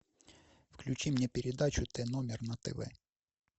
включи мне передачу т номер на тв